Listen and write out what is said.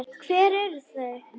Hver eru þau?